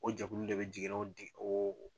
O jɛkulu de bɛ jigin n'o di o